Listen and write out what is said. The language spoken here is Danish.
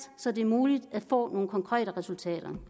så det er muligt at få nogle konkrete resultater